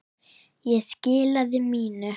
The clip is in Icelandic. Ég skilaði mínu.